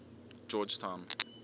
georgetown